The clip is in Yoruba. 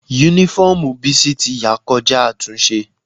Únífọ́ọ̀mù Bísí ti ya kọjá àtúnṣe